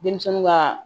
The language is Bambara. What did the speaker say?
Denmisɛnninw ka